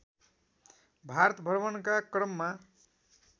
भारत भ्रमणका क्रममा